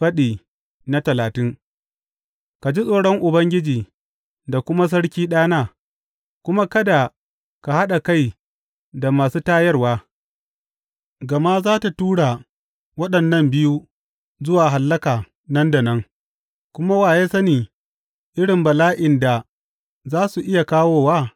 Faɗi talatin Ka ji tsoron Ubangiji da kuma sarki, ɗana, kuma kada ka haɗa kai da masu tayarwa, gama za a tura waɗannan biyu zuwa hallaka nan da nan, kuma wa ya sani irin bala’in da za su iya kawowa?